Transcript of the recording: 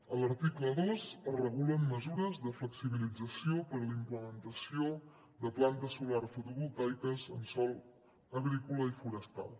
a l’article dos es regulen mesures de flexibilització per a la implementació de plantes solars fotovoltaiques en sòl agrícola i forestal